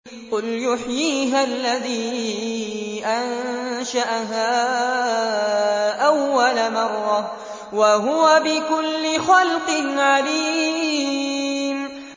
قُلْ يُحْيِيهَا الَّذِي أَنشَأَهَا أَوَّلَ مَرَّةٍ ۖ وَهُوَ بِكُلِّ خَلْقٍ عَلِيمٌ